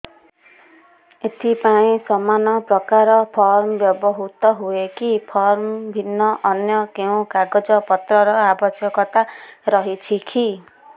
ଏଥିପାଇଁ ସମାନପ୍ରକାର ଫର୍ମ ବ୍ୟବହୃତ ହୂଏକି ଫର୍ମ ଭିନ୍ନ ଅନ୍ୟ କେଉଁ କାଗଜପତ୍ରର ଆବଶ୍ୟକତା ରହିଛିକି